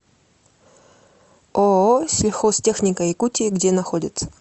ооо сельхозтехника якутии где находится